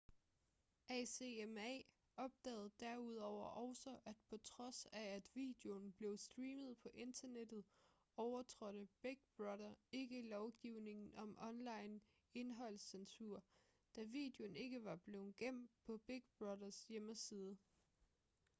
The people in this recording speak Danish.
acma opdagede derudover også at på trods af at videoen blev streamet på internettet overtrådte big brother ikke lovgivningen om online indholdscensur da videoen ikke var blevet gemt på big brother"s hjemmeside